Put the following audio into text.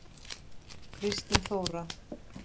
Kristín Þóra.